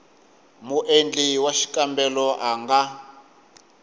muendli wa xikombelo a nga